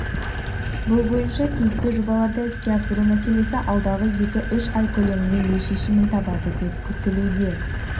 бұл бойынша тиісті жобаларды іске асыру мәселесі алдағы екі-үш ай көлемінде өз шешімін табады деп күтілуде